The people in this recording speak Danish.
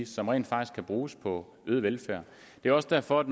som rent faktisk kan bruges på øget velfærd det er også derfor at